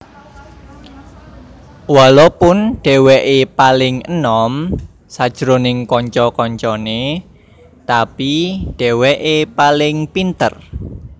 Walopun dheweke paling enom sajroning kanca kancane tapi dheweke paling pinter